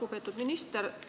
Lugupeetud minister!